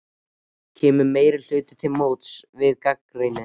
Kemur meirihlutinn til móts við þá gagnrýni?